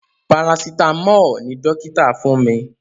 Parasitamọ́ọ̀ ni dókítà fún mi